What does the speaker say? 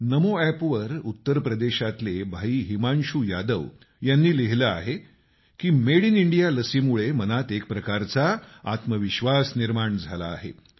नमो अपवर उत्तरप्रदेशातले भाई हिमांशु यादव यांनी लिहिलं आहे की मेड इन इंडिया लसीमुळे मनात एक प्रकारचा आत्मविश्वास निर्माण झाला आहे